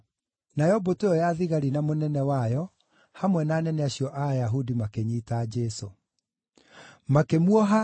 Nayo mbũtũ ĩyo ya thigari na mũnene wayo, hamwe na anene acio a Ayahudi makĩnyiita Jesũ. Makĩmuoha na